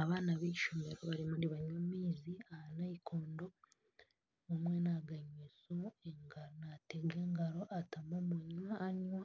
Abaana b'eishomero bariyo nibanywa amaizi aha nayikondo omwe naaganywera aha ngaaro naatamu omunwa aganywa,